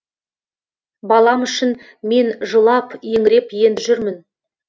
балам үшін мен жылап еңіреп енді жүрмін